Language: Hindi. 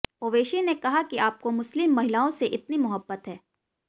ओवैसी ने कहा कि आपको मुस्लिम महिलाओं से इतनी मोहब्बत है